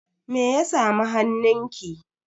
Me ya samu hannunki?